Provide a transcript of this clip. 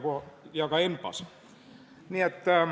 ... kui ka ENPA-s.